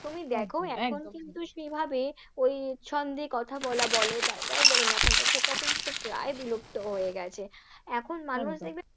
তুমি দেখো এখন কিন্তু সেইভাবে ওই ছন্দে কথা বলা বলো বা যাই বলো না কেন সেটা কিন্তু প্রায় বিলুপ্ত হয়ে গেছে, এখন মানুষ দেখবে